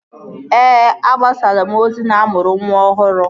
Ee, agbasalaa m ozi na-amụrụ nwa ọhụrụ